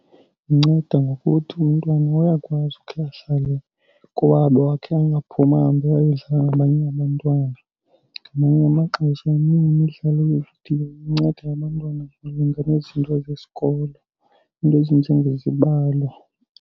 Inceda ngokuthi umntwana uyakwazi ukhe ahlale kowabo ahlale angaphumi ahambe ayodlala nabanye abantwana. Ngamanye amaxesha eminye imidlalo yeevidiyo inceda abantwana malunga nezinto zesikolo iinto ezinjengezibalo.